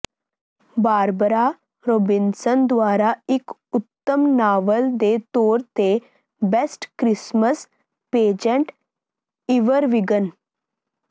Barbara Robinson ਦੁਆਰਾ ਇਕ ਉੱਤਮ ਨਾਵਲ ਦੇ ਤੌਰ ਤੇ ਬੇਸਟ ਕ੍ਰਿਸਮਸ ਪੇਜ਼ੈਂਟ ਈਵਰਬੀਗਨ